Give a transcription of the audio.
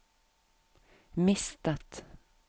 mistet